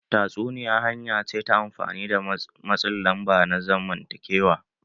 Tatsuniya hanya ce ta amfani da matsin lamba na zamantakewa.